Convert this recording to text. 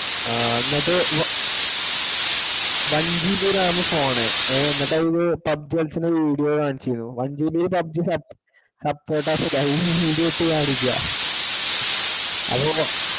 ആ എന്നിട്ടു one GB ram phone ഹേ എന്നിട്ടു അതില് PUBG കളിക്കുന്ന video കാണിച്ചു തരിക. one GBPUBG download ചെയ്ത video ഇട്ടു കാണിക്കുവാ. അതോ